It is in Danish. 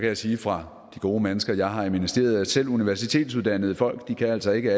jeg sige fra de gode mennesker jeg har i ministeriet at selv universitetsuddannede folk altså ikke